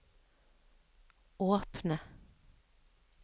åpne